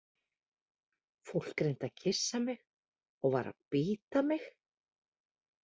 Fólk reyndi að kyssa mig og var að bíta mig.